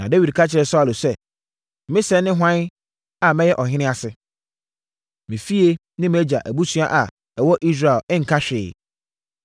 Na Dawid ka kyerɛɛ Saulo sɛ, “Me sɛɛ ne hwan a mɛyɛ ɔhene ase? Me fie, me mʼagya abusua a ɛwɔ Israel nka hwee?”